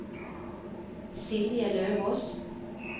Silje Løvås